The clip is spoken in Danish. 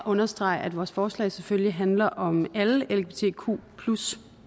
understrege at vores forslag selvfølgelig handler om alle lgbtq